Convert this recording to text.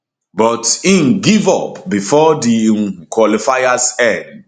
but im give up bifor di um qualifiers end